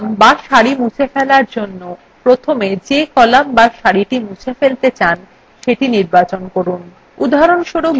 একটি একক column বা সারি মুছে ফেলার জন্য প্রথমে যে column বা সারিটি আপনি মুছে ফেলতে চান সেটি নির্বাচন করুন